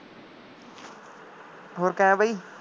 ਹੋਰ ਕਿਵੇਂ ਬਾਈ